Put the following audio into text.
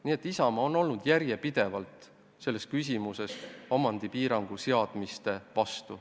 Nii et Isamaa on järjepidevalt olnud selles küsimuses omandipiirangute seadmise vastu.